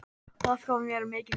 Það gaf mér mikinn styrk.